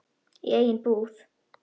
Í eigin íbúð.